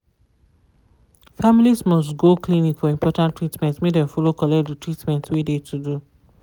families must go clinic for important treatment make dem follow collect de treatment wey de to do.